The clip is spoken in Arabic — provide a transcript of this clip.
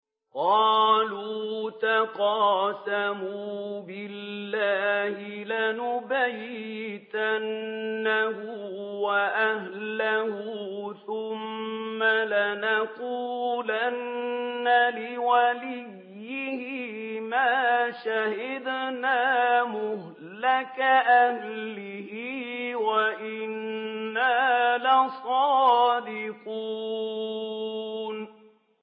قَالُوا تَقَاسَمُوا بِاللَّهِ لَنُبَيِّتَنَّهُ وَأَهْلَهُ ثُمَّ لَنَقُولَنَّ لِوَلِيِّهِ مَا شَهِدْنَا مَهْلِكَ أَهْلِهِ وَإِنَّا لَصَادِقُونَ